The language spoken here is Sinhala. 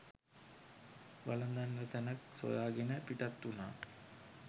වළදන්නට තැනැක් සොයා ගෙන පිටත් වුනා